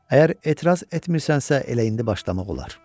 Əgər etiraz etmirsənsə, elə indi başlamaq olar.